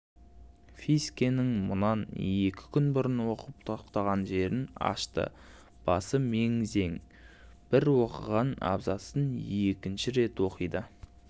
фискенің мұнан екі күн бұрын оқып тоқтаған жерін ашты басы мең-зең бір оқыған абзацын екінші рет оқиды